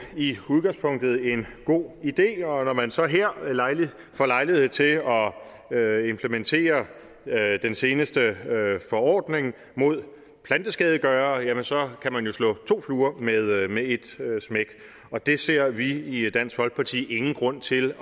i udgangspunktet en god idé og når man så her får lejlighed til at at implementere den seneste forordning mod planteskadegørere jamen så kan man jo slå to fluer med et med et smæk og det ser vi i i dansk folkeparti ingen grund til